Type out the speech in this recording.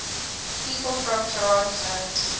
people from toronto